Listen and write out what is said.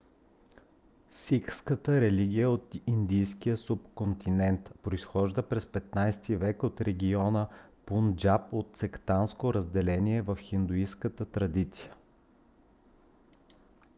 сикхската религия е от индийския субконтинент. произхожда през 15 век от региона пунджаб от сектантско разделение в хиндуистката традиция